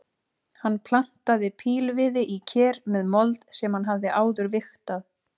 Hann plantaði pílviði í ker með mold sem hann hafði áður vigtað.